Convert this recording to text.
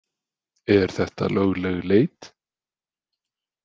Er þetta lögleg leit?